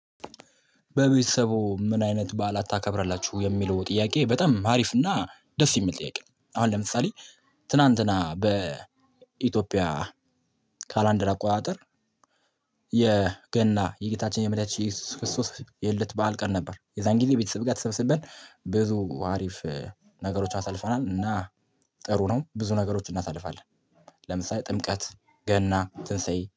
በቤተሰቡ ምን አይነት በዓላት ታከብራላችሁ የሚለው ጥያቄ በጣም አሪፍ እና ደስ የሚል ጥያቄ ነው። አሁን ለምሳሌ ትናንትና በኢትዮጵያ ካላንደር አቆጣጠር። የገና የጌታችን የመዳች ክርስቶስ የልደት በዓል ቀን ነበር። የዛን ጊዜ ቤተሰብ ጋር ተሰብስበን ብዙ አሪፍ ነገሮች አሳልፈናል። እና ጥሩ ነው ብዙ ነገሮችን እናሳልፋለን። ለምሳሌ ጥምቀት ገና ትንሳኤይ